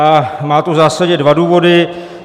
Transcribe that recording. A má to v zásadě dva důvody.